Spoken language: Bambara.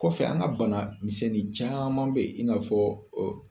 Kɔfɛ an ka bana misɛnnin caman be yen i n'a fɔ